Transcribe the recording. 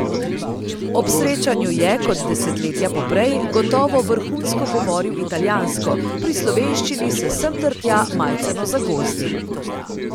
Ob srečanju je, kot desetletja poprej, gotovo vrhunsko govoril italijansko, pri slovenščini se sem ter tja majceno zagozdi.